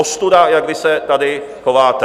Ostuda, jak vy se tady chováte.